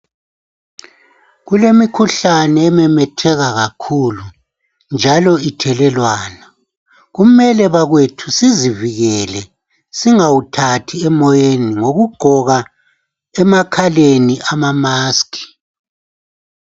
Kulemikhuhlane ememetheka kakhuku njalo ithelelwana. Kumele bakwethu sizivikele singawuthathi emoyeni ngokugqoka emakhaleni amamask.